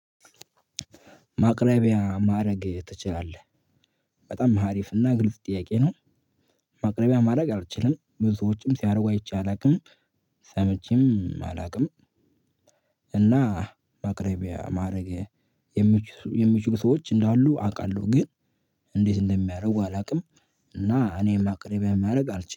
ማቅረቢያ ማድረግ ትችላለህ? በጣም አሪፍ እና ግልጽ ጥያቄ ነው። ማቅረቢያ ማድረግ አልችልም። ብዙዎችም ሲያደርጉ አይቼ አላውቅም፤ ሰምቼም አላውቅም። እና ማቅረቢያ ማድረግ የሚችሉ ሰዎች እንዳሉ አውቃለሁ። ግን እንዴት እንደሚያደርጉ አላውቅም። እና እኔም ማቅረቢያ ማድረግ አልችልም።